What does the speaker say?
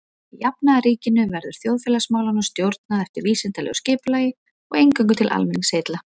Í jafnaðarríkinu verður þjóðfélagsmálunum stjórnað eftir vísindalegu skipulagi og eingöngu til almenningsheilla.